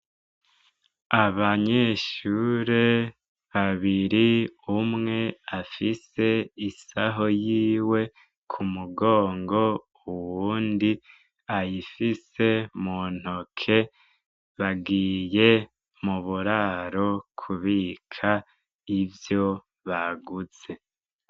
Abanyeshure babiri umwe afise isaho yiwe ku mugongo ,uwundi ayifise mu ntoke, bagiye mu bururaro kubika ivyo baguze.